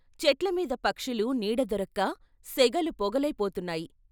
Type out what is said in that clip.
చెట్లమీద పక్షులు నీడ దొరక్క సెగలు పొగలయి పోతున్నాయి.